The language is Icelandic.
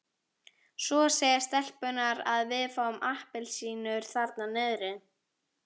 Svo segja stelpurnar að við fáum appelsínur þarna niðri.